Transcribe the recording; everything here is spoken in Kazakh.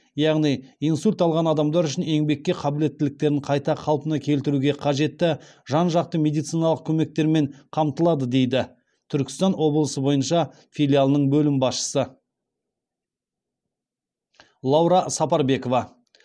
яғни инсульт алған адамдар үшін еңбекке қабілеттіліктерін қайта қалпына келтіруге қажетті жан жақты медициналық көмектермен қамтылады дейді түркістан облысы бойынша филиалының бөлім басшысы лаура сапарбекова